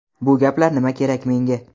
Bu gaplar nima kerak menga?.